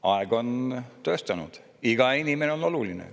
" Aeg on tõestanud, et iga inimene on oluline.